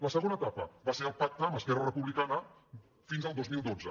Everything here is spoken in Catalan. la segona etapa va ser el pacte amb esquerra repu·blicana fins al dos mil dotze